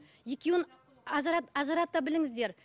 екеуін ажырата біліңіздер